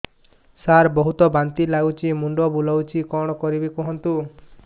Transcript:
ସାର ବହୁତ ବାନ୍ତି ଲାଗୁଛି ମୁଣ୍ଡ ବୁଲୋଉଛି କଣ କରିବି କୁହନ୍ତୁ